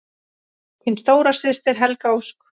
Þín stóra systir, Helga Ósk.